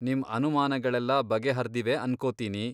ನಿಮ್ ಅನುಮಾನಗಳೆಲ್ಲ ಬಗೆಹರ್ದಿವೆ ಅನ್ಕೊತೀನಿ.